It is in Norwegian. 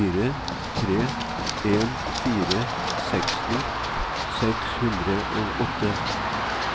fire tre en fire seksti seks hundre og åtte